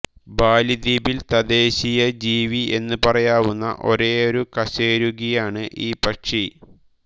ബാലി ദ്വീപിൽ തദ്ദേശീയജീവി എന്നു പറയാവുന്ന ഒരേയൊരു കശേരുകിയാണ് ഈ പക്ഷി